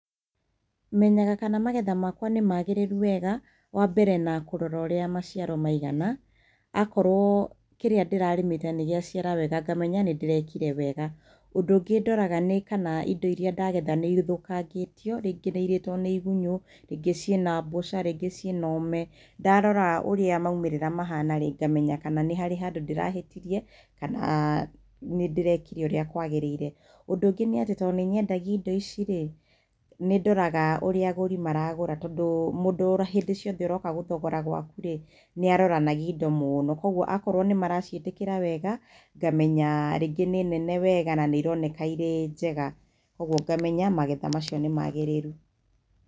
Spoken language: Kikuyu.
Menyaga kana magetha makwa nĩmagĩrĩru wega wambere na kũrora ũrĩa maciaro maigana, akorwo kĩrĩa ndĩrarĩmĩte nĩgĩaciara wega ngamenya nĩndĩrekire wega. Ũndũ ũngĩ ndoraga kana indo iria ndagetha kana nĩithũkangĩtio rĩngĩ nĩirĩtwo nĩ igunyo rĩngĩ ciĩna mbũca ingĩ ciĩ na ũme ndarora ũrĩa maumĩrĩra mahana ngamenya kana nĩ harĩ handũ ndĩrahĩtirie kana nĩndĩrekire ũrĩa kwagĩrĩire. Ũndũ ũngĩ nĩ atĩ tondũ nĩnyendagia indo ici rĩ, nĩndoraga ũrĩa agũri maragũra tondũ mũndũ hĩndĩ ciothe aroka gũthogora gwaku rĩ nĩaroranagia indo mũno koguo akorwo nĩmaraciĩtĩkĩra wega ngamenya rĩngĩ nĩ nene wega na nĩironeka irĩ njega koguo ngamenya magetha macio nĩ magĩrĩru.